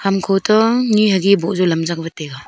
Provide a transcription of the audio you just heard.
hamko to ni hagi boh jaw lam jakwat taiga.